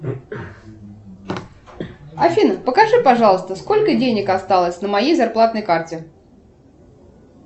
афина покажи пожалуйста сколько денег осталось на моей зарплатной карте